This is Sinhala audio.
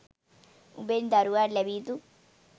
උඹෙන් දරුවාට ලැබිය යුතු